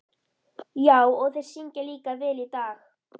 Já, og þeir syngja líka vel í dag.